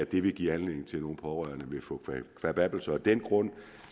det vil give anledning til at nogen pårørende får kvababbelser af den grund